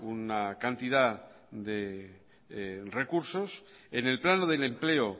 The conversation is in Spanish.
una cantidad de recursos en el plano del empleo